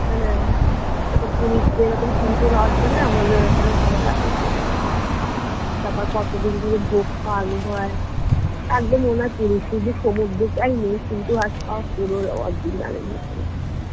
হ্যাঁ যেরকম পুরীতে রথ বেরহয় আমাদের এখান কামার্হাটিতে রথ তারপর কত দিন ধরে ভোগ খাওয়ানো হয় একদম মনেহয় পুরী শুধু সমুদ্রটাই নেই